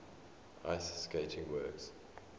ice skating works